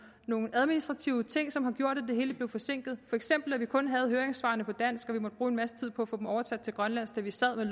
nogle administrative ting som har gjort at det hele blev forsinket for eksempel at vi kun havde høringssvarene på dansk og måtte bruge en masse tid på at få dem oversat til grønlandsk da vi sad med